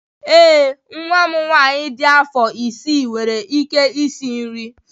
Ee, nwa m nwanyị dị afọ isii nwere ike isi nri